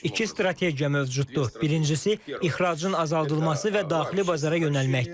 İki strategiya mövcuddur: Birincisi ixracın azaldılması və daxili bazara yönəlməkdir.